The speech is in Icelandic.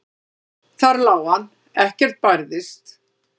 Þar lá hann, ekkert bærðist.